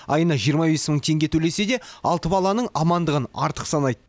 айына жиырма бес мың теңге төлесе де алты баланың амандығын артық санайды